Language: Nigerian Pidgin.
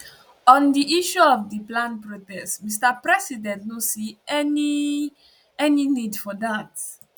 on di issue of di planned protest mr president no see any any need for dat